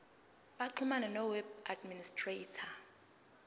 baxhumane noweb administrator